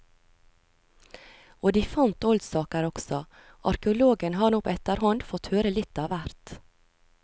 Og de fant oldsaker også, arkeologen har nå på etterhånd fått høre litt av hvert.